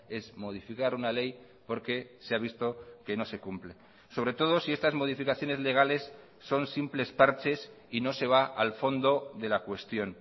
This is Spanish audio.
es modificar una ley porque se ha visto que no se cumple sobre todo si estas modificaciones legales son simples parches y no se va al fondo de la cuestión